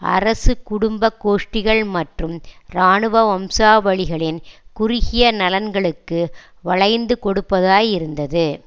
அரசு குடும்ப கோஷ்டிகள் மற்றும் இராணுவ வம்சாவளிகளின் குறுகிய நலன்களுக்கு வளைந்து கொடுப்பதாய் இருந்தது